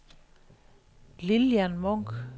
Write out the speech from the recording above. Lilian Munch